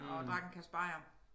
Og drak en kasse bajer